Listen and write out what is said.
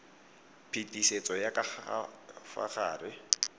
phetisetso ya ka fa gare